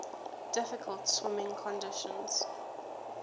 difficult swimming conditions